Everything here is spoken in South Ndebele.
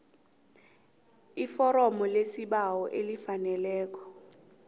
iforomo lesibawo elifaneleko